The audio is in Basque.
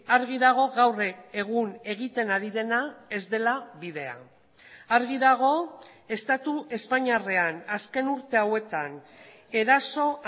argi dago gaur egun egiten ari dena ez dela bidea argi dago estatu espainiarrean azken urte hauetan eraso